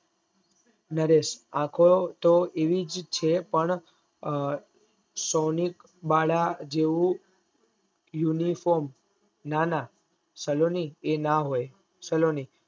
નરેશ આખો તોહ આવીજ છે પણ સૌનિક બાળ જેવું uniform ના ના સલોની એ ના હોય સલોની